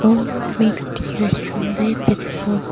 makes the restaurant very beautiful.